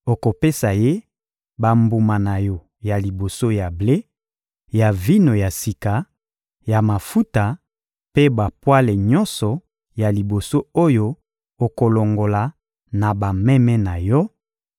Okopesa ye bambuma na yo ya liboso ya ble, ya vino ya sika, ya mafuta mpe bapwale nyonso ya liboso oyo okolongola na bameme na yo;